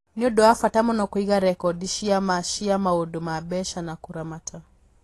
Nĩ ũndũ wa bata mũno kũiga rekondi cia ma cia maũndũ ma mbeca na kũramata.